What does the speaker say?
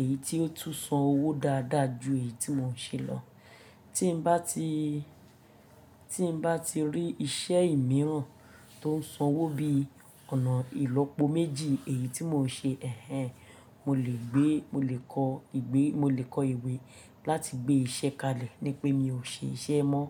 èyí tó tún san owó dáadáa ju èyí tí mò ń ṣe lọ. Tí n bá ti, tí n bá ti rí iṣẹ́ míràn tó ń san owó bí ọ̀nà ìlópo méjì èyí tí mò ń ṣe, ẹhen, mo lè gbé, mo lè kọ ìgbẹ́, mo lè kọ ìwé láti gbé iṣẹ́ kalẹ̀ ní pé mi ò ṣe iṣẹ́ mọ́.